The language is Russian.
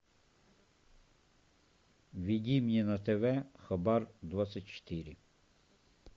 введи мне на тв хабар двадцать четыре